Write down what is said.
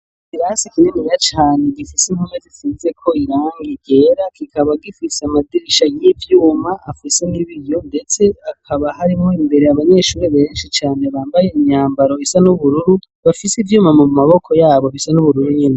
ikirasi kininiya cane gifise impome zisizeko irangi ryera, kikaba gifiise amadirisha y'ivyuma afise n'ibiyo ndetse hakaba harimwo imbere abanyeshuri benshi cane bambaye imyambaro isa n'ubururu bafise ivyuma mu maboko yabo bisa n'ubururu nyene.